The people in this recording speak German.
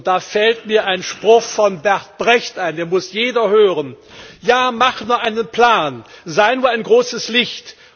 Da fällt mir ein Spruch von Bert Brecht ein, den muss jeder hören Ja, mach nur einen Plan, sei nur ein großes Licht.